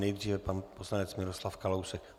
Nejdříve pan poslanec Miroslav Kalousek.